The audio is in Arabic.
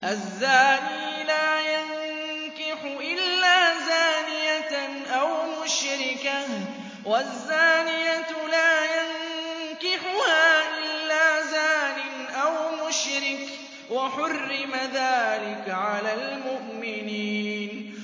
الزَّانِي لَا يَنكِحُ إِلَّا زَانِيَةً أَوْ مُشْرِكَةً وَالزَّانِيَةُ لَا يَنكِحُهَا إِلَّا زَانٍ أَوْ مُشْرِكٌ ۚ وَحُرِّمَ ذَٰلِكَ عَلَى الْمُؤْمِنِينَ